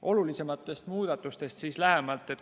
Olulisematest muudatustest lähemalt.